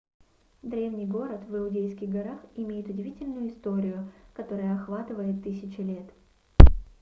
древний город в иудейских горах имеет удивительную историю которая охватывает тысячи лет